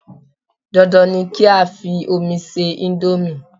Dan Dan ni kí á fi omi ṣe íńdómì.